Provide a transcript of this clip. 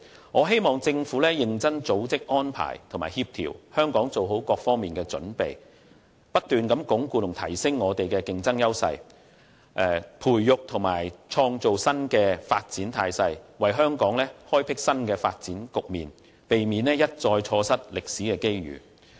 我希望政府會認真組織、安排和協調，令香港在各方面均能作好準備，不斷鞏固和提升我們的競爭優勢，並培育和創造新的發展態勢，為香港開闢新的發展局面，避免一再錯失歷史機遇。